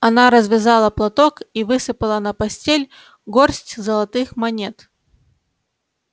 она развязала платок и высыпала на постель горсть золотых монет